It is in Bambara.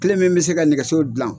Kelen min bɛ se ka nɛgɛso dilan.